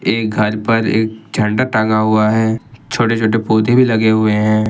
ये घर पर एक झंडा टंगा हुआ है छोटे छोटे पौधे भी लगे हुए हैं।